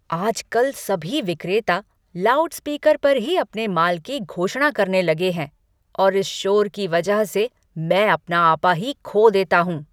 आजकल सभी विक्रेता लाउडस्पीकर पर ही अपने माल की घोषणा करने लगे हैं और इस शोर की वजह से मैं अपना आपा ही खो देता हूँ।